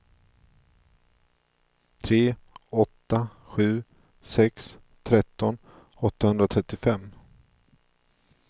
tre åtta sju sex tretton åttahundraåttiofem